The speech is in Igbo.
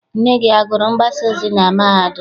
Nne gị agụrụ mgbasaozi na mahadum?